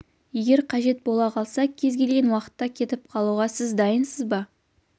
егер қажет бола қалса кез келген уақытта кетіп қалуға сіз дайынсыз ба